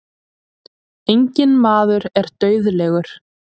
Enginn maður er dauðlegur.